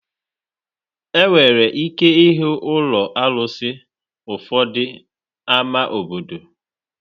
Enwere ike ịhụ ụlọ arụsị ụfọdụ ámá obodo.